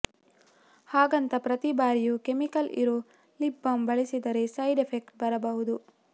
ಹಾಗಂತ ಪ್ರತಿ ಬಾರಿಯೂ ಕೆಮಿಕಲ್ ಇರೋ ಲಿಪ್ ಬಾಮ್ ಬಳಸಿದರೆ ಸೈಡ್ ಎಫೆಕ್ಟ್ ಬರಬಹುದು